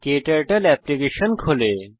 ক্টার্টল application খোলে